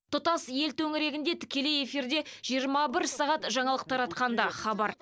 тұтас ел төңірегінде тікелей эфирде жиырма бір сағат жаңалық таратқан да хабар